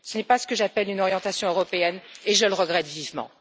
Ce n'est pas ce que j'appelle une orientation européenne et je le regrette vivement.